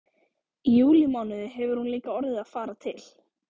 Í júlímánuði hefur hún líka orðið að fara til